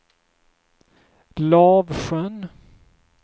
Lavsjön